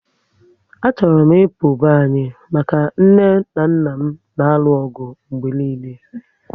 A chọrọ m ịpụ be anyị maka nne na nna m n'aru ọgụ oge niile